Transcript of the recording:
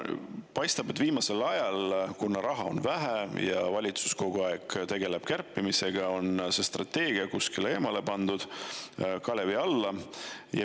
Paistab, et viimasel ajal, kuna raha on vähe ja valitsus kogu aeg tegeleb kärpimisega, on see strateegia kuskile eemale pandud, kalevi alla.